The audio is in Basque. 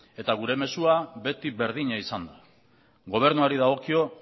gure mezua beti berdina izan da gobernuari dagokio